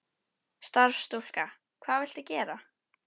Starfsstúlka: Hvað viltu gera?